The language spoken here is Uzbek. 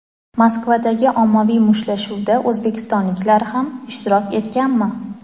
Moskvadagi ommaviy mushtlashuvda o‘zbekistonliklar ham ishtirok etganmi?.